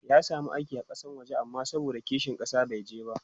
ya samu aiki a Kasan waje amma saboda kishin ƙasa bai je ba